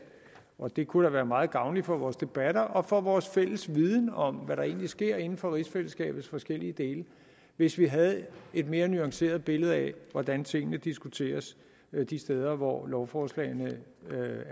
det kunne da være meget gavnligt for vores debatter og for vores fælles viden om hvad der egentlig sker inden for rigsfællesskabets forskellige dele hvis vi havde et mere nuanceret billede af hvordan tingene diskuteres de steder hvor lovforslagene